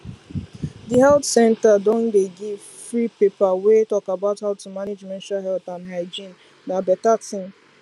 the health center don dey give free paper wey talk about how to manage menstrual health and hygienena better thing